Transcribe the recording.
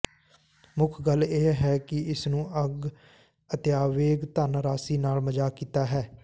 ਮੁੱਖ ਗੱਲ ਇਹ ਹੈ ਕਿ ਇਸ ਨੂੰ ਅੱਗ ਅਤੇਆਵੇਗ ਧਨ ਰਾਸ਼ੀ ਨਾਲ ਮਜ਼ਾਕ ਕੀਤਾ ਹੈ